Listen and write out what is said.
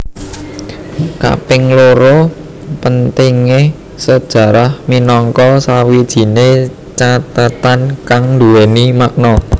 Kaping loro pentingé sejarah minangka sawijine cathetan kang nduwèni makna